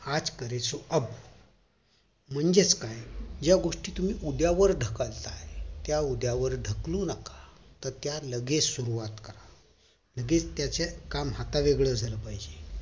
आज करे सो अब म्हणजेच काय या गोष्टी तुम्ही उद्या वर ढकलताय त्या उद्या वर ढकलू नका तर त्या लगेच सुरवात करा आधीच काम हाता वेगळं झालं पाहिजे